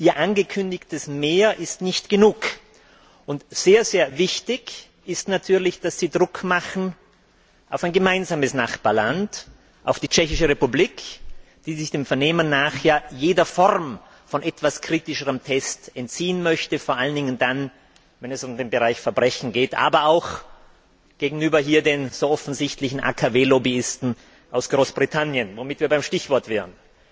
Ihr angekündigtes Mehr ist nicht genug, und sehr wichtig ist natürlich, dass Sie Druck auf ein gemeinsames Nachbarland machen, nämlich auf die Tschechische Republik, die sich dem Vernehmen nach ja jeder Form von etwas kritischeren Tests entziehen möchte, vor allen Dingen dann, wenn es um den Bereich Verbrechen geht, aber auch gegenüber den so offensichtlichen AKW Lobbyisten aus Großbritannien womit wir beim Stichwort wären.